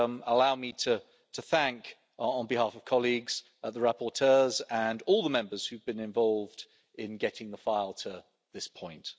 Allow me to thank, on behalf of colleagues, the rapporteurs and all the Members who have been involved in getting the file to this point.